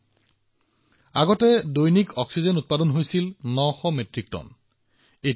আপুনি অনুমান কৰিব পাৰে সাধাৰণ দিনত ইয়াত এটা দিনত ৯০০ মেট্ৰিক টন তৰল চিকিৎসা অক্সিজেন উৎপাদন হৈছিল